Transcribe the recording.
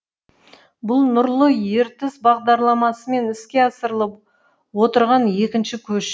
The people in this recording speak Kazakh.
бұл нұрлы ертіс бағдарламасымен іске асырылып отырған екінші көш